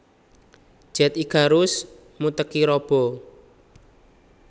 Jet Icarus Muteki Robo